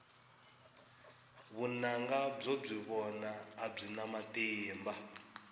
vunanga byo byi vona a byi na matimba